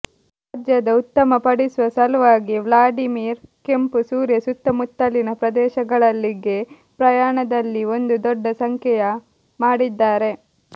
ರಾಜ್ಯದ ಉತ್ತಮಪಡಿಸುವ ಸಲುವಾಗಿ ವ್ಲಾಡಿಮಿರ್ ಕೆಂಪು ಸೂರ್ಯ ಸುತ್ತಮುತ್ತಲಿನ ಪ್ರದೇಶಗಳಲ್ಲಿ ಗೆ ಪ್ರಯಾಣದಲ್ಲಿ ಒಂದು ದೊಡ್ಡ ಸಂಖ್ಯೆಯ ಮಾಡಿದ್ದಾರೆ